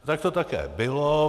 Tak to také bylo.